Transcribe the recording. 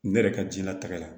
Ne yɛrɛ ka jiyɛn latigɛ la